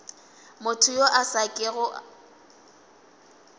motho yo a sa kego